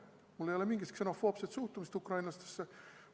Mul ei ole mingit ksenofoobset suhtumist ukrainlastesse.